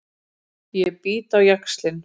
Ég bít á jaxlinn.